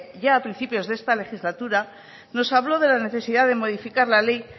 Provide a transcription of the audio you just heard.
ya a principios de esta legislatura nos habló de la necesidad de modificar la ley